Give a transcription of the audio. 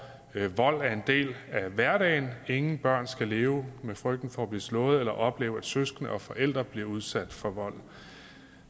vold er en del af hverdagen ingen børn skal leve med frygten for at blive slået eller opleve at søskende eller forældre bliver udsat for vold